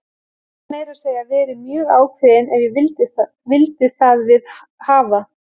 Gat meira að segja verið mjög ákveðinn ef ég vildi það við hafa.